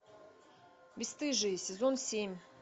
бесстыжие сезон семь